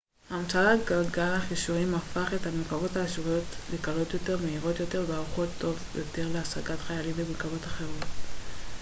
המצאת גלגל החישורים הפך את המרכבות האשוריות לקלות יותר מהירות יותר וערוכות טוב יותר להשגת חיילים ומרכבות אחרות